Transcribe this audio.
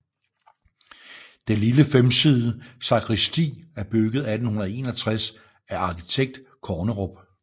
Det lille femsidede sakristi er bygget 1861 af arkitekt Kornerup